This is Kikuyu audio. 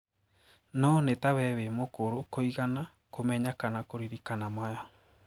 Noo ni ta we wi mũkũrũ kũigana kumenya kana kuririkana maya.